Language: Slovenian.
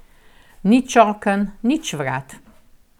Nič oken, nič vrat ...